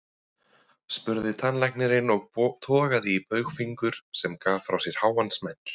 spurði tannlæknirinn og togaði í baugfingur, sem gaf frá sér háan smell.